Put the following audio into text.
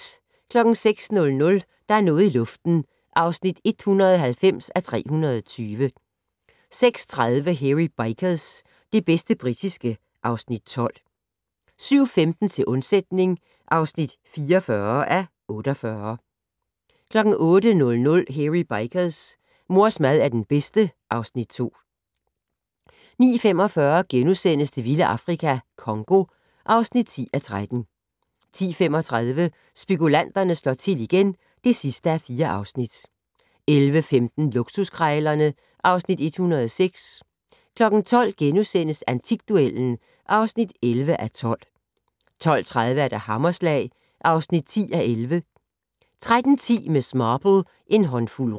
06:00: Der er noget i luften (190:320) 06:30: Hairy Bikers - det bedste britiske (Afs. 12) 07:15: Til undsætning (44:48) 08:00: Hairy Bikers: Mors mad er den bedste (Afs. 2) 09:45: Det vilde Afrika - Congo (10:13)* 10:35: Spekulanterne slår til igen (4:4) 11:15: Luksuskrejlerne (Afs. 106) 12:00: Antikduellen (11:12)* 12:30: Hammerslag (10:11) 13:10: Miss Marple: En håndfuld rug